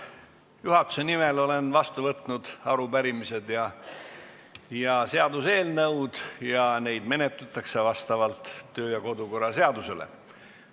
Olen juhatuse nimel vastu võtnud arupärimise ja seaduseelnõud, neid menetletakse vastavalt kodu- ja töökorra seadusele.